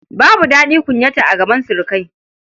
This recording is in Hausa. Babu daɗi kunyata a gaban surukai.